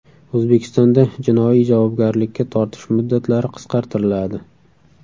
O‘zbekistonda jinoiy javobgarlikka tortish muddatlari qisqartiriladi.